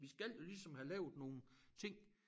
Vi skal jo ligesom have lavet nogle ting